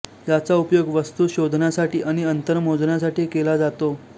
याचा उपयोग वस्तू शोधण्यासाठी आणि अंतर मोजण्यासाठी केला जातो